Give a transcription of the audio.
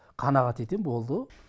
қанағат етем болды